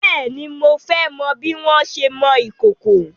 Bèéni, mo fẹ́ mọ bí wọn ṣé ń mọ ìkòkò.